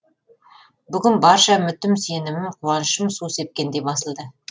бүгін барша үмітім сенімім қуанышым су сепкендей басылды